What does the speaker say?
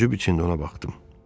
Təəccüb içində ona baxdım.